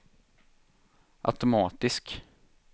automatisk